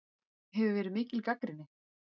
Hefur verið mikið gagnrýni?